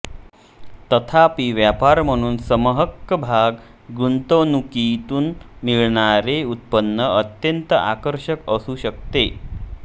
तथापि व्यापार म्हणून समहक्कभाग गुंतवणूकीतून मिळणारे उत्पन्न अत्यंत आकर्षक असू शकते